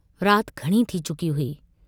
रात घणी थी चुकी हुई।